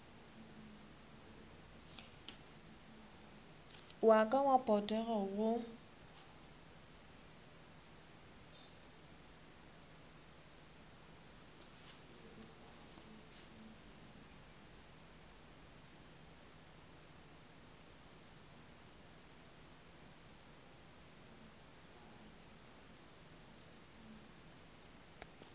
wa ka wa potego go